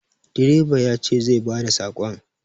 Direba ya ce zai ba da sakon.